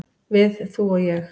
"""Við, þú og ég."""